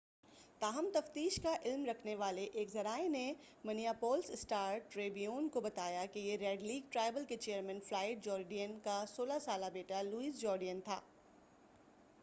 تاہم تفتیش کا علم رکھنے والے ایک ذرائع نے منیاپولس اسٹار ٹریبیون کو بتایا کہ یہ ریڈ لیک ٹرائبل کے چیئرمین فلائیڈ جورڈین کا 16 سالہ بیٹا لوئس جورڈین تھا